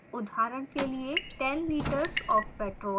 उदाहरण के लिए: 10 litres of petrol